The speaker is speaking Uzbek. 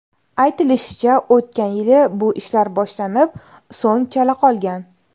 Aytilishicha, o‘tgan yili bu ishlar boshlanib, so‘ng chala qolgan.